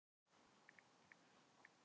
Geirröður, hvernig er veðrið í dag?